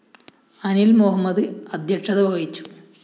അനില്‍ മുഹമ്മദ് അദ്ധ്യക്ഷത വഹിച്ചു